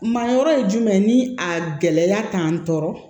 Mayɔrɔ ye jumɛn ni a gɛlɛya k'an tɔɔrɔ